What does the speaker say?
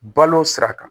Balo sira kan